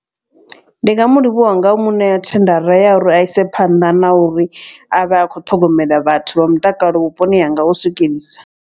Ndi nga mu livhuwa nga muṋea thendara ya uri a ise phanḓa na uri a vhe a khou ṱhogomela vhathu vha mutakalo vhuponi hanga u swikelelisa.